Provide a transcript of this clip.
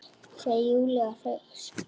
segir Júlía hneyksluð.